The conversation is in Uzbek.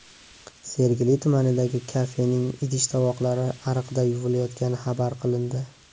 Sergeli tumanidagi kafening idish-tovoqlari ariqda yuvilayotgani xabar qilindi.